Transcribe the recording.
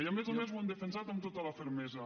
i a més a més ho han defensat amb tota la fermesa